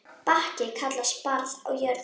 Bakki kallast barð á jörð.